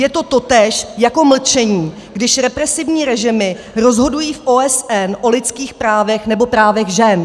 Je to totéž jako mlčení, když represivní režimy rozhodují v OSN o lidských právech nebo právech žen.